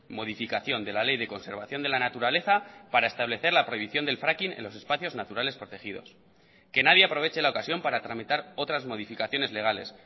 modificación de la ley de conservación de la naturaleza para establecer la prohibición del fracking en los espacios naturales protegidos que nadie aproveche la ocasión para tramitar otras modificaciones legales